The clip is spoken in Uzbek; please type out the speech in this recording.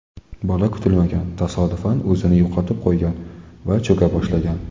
Bola kutilmagan tasodifdan o‘zini yo‘qotib qo‘ygan va cho‘ka boshlagan.